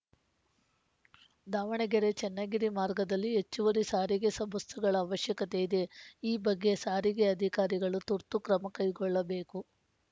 ದಾವಣಗೆರೆ ಚನ್ನಗಿರಿ ಮಾರ್ಗದಲ್ಲಿ ಹೆಚ್ಚುವರಿ ಸಾರಿಗೆ ಸ ಬಸ್‌ಗಳ ಅವಶ್ಯಕತೆ ಇದೆ ಈ ಬಗ್ಗೆ ಸಾರಿಗೆ ಅಧಿಕಾರಿಗಳು ತುರ್ತು ಕ್ರಮ ಕೈಗೊಳ್ಳಬೇಕು